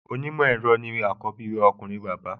Onímọ̀ ẹ̀rọ ni àkọ́bí ọkùnrin bàbá